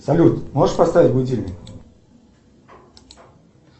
салют можешь поставить будильник